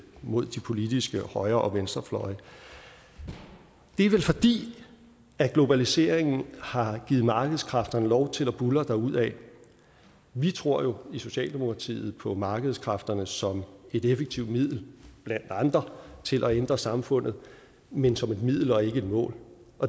mod de politiske højre og venstrefløje og det er vel fordi globaliseringen har givet markedskræfterne lov til at buldre derudad vi tror jo i socialdemokratiet på markedskræfterne som et effektivt middel blandt andre til at ændre samfundet men som et middel og ikke et mål